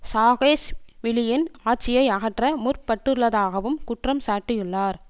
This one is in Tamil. சாகேஷ்விலியின் ஆட்சியை அகற்ற முற்பட்டுள்ளதாகவும் குற்றம் சாட்டியுள்ளார்